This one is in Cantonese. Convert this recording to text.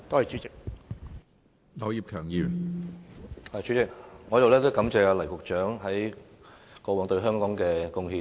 主席，我首先感謝黎局長過往對香港作出的貢獻。